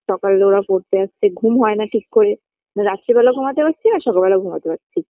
সকালে ওরা পড়তে আসছে ঘুম হয় না ঠিক করে না রাত্রে বেলা ঘুমাতে পারছি না সকালে বেলা ঘুমাতে পারছি